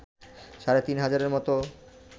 সাড়ে তিন হাজারের মত